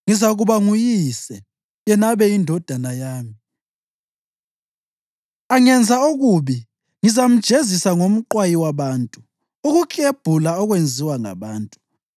Ngizakuba nguyise, yena abe yindodana yami. Angenza okubi ngizamjezisa ngomqwayi wabantu, ukuklebhula okwenziwa ngabantu.